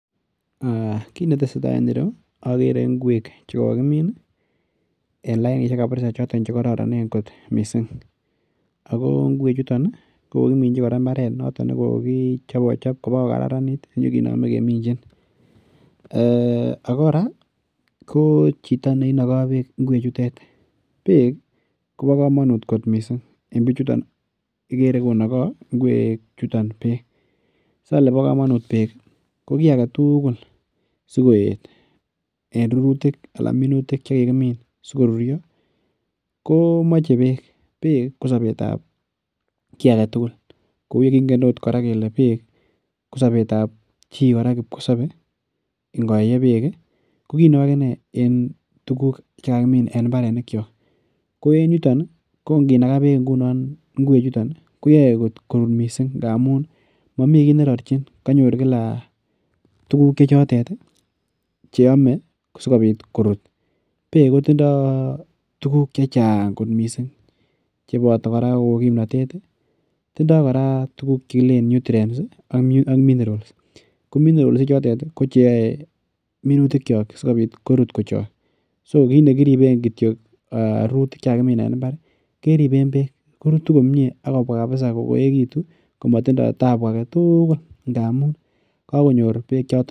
Aa kit netesee taa en yu okere inkwek che kokimin ii en lainishek chekororonen missing' ako inkwechuton kokokiminchi imbaret nekokichopochop kokararanit inyokinome keminjin, ee ako koraa ko chito neinoko beek inkwechutet beek ko bokomonut en bichuton ikere konoko inkwechuton beek , sole bokomonut beek ko ki aketugul sikoet en rurutik ala minutik chekikimin sikorurio komoche beek, beek kosobetab ki aketugul kou ye kingen oot koraa beek kosobetab kipkosobe ingoyee beek ii ko kineu akinee en tuguk chekakimin en imbaronikiok, ko en yuton ii ko inginaka beek ingunon inkwechuton ii koyoe korut kot missing' ngamun momi ki nerorjin konyor kila tuguk chechotet ii cheome sikobit korut beek kotindo tuguk chechang kot missing' cheboto koraa kou kimnotet ii tindoo koraa tuguk chekilen nutrients ii ak minerals, ko minerals ichotet ii kocheoe minutikiok sikobit korut kochok so kit nekiriben kityok rurutik en imbar ii keriben beek korutu komie ak kobwaa kabisa koyekitu komotindo tabu aketugul ndamun kokonyor beek.